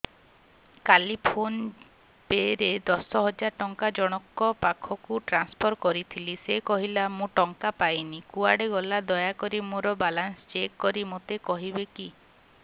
କାଲି PhonePe ରେ ଦଶ ହଜାର ଟଙ୍କା ଜଣକ ପାଖକୁ ଟ୍ରାନ୍ସଫର୍ କରିଥିଲି ସେ କହିଲା ମୁଁ ଟଙ୍କା ପାଇନି କୁଆଡେ ଗଲା ଦୟାକରି ମୋର ବାଲାନ୍ସ ଚେକ୍ କରି ମୋତେ କହିବେ କି